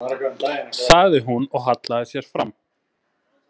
, sagði hún og hallaði sér fram.